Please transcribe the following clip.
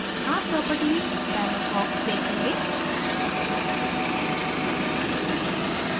आप properties dialog box देखेंगे